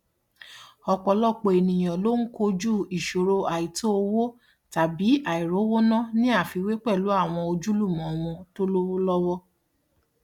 ọpọlọpọ ènìyàn ló ń kọjú ìṣòro àìtò owo tàbí àìrówóná ní àfiwé pẹlú àwọn ojúlùmọ wọn tó lówó lọwọ